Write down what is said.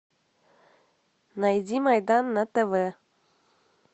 найди майдан на тв